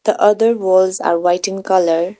The other walls are white in colour .